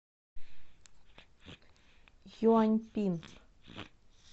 юаньпин